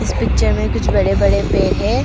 इस पिक्चर में कुछ बड़े बड़े पेड़ है।